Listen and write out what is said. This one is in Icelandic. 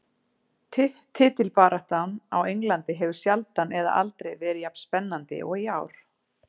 Titilbaráttan á Englandi hefur sjaldan eða aldrei verið jafn spennandi og í ár.